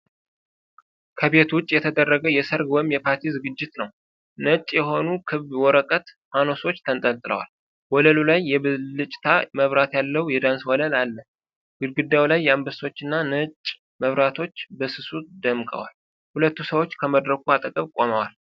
ከቤት ውጪ የተደረገ የሠርግ ወይም የፓርቲ ዝግጅት ነው። ነጭ የሆኑ ክብ የወረቀት ፋኖሶች ተንጠልጥለዋል። ወለሉ ላይ የብልጭታ መብራት ያለው የዳንስ ወለል አለ። ግድግዳው ላይ አበቦችና ነጭ መብራቶች በስሱ ደምቀዋል፤ ሁለት ሰዎች ከመድረኩ አጠገብ ቆመዋል።